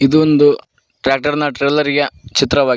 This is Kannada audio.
ಇದು ಒಂದು ಟ್ರ್ಯಾಕ್ಟರ್ನ ಟ್ರಾಲೆರಿಯ ಚಿತ್ರವಾಗಿ--